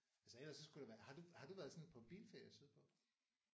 Altså ellers så skulle det være har du har du været sådan på bilferie sydpå?